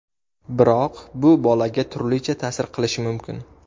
Biroq bu bolaga turlicha ta’sir qilishi mumkin.